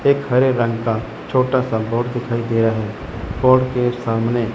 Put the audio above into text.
एक हरे रंग का छोटा सा बोट दिखाई दे रहा है बोट के सामने--